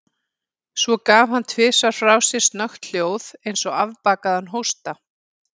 Svo gaf hann tvisvar frá sér snöggt hljóð, eins og afbakaðan hósta.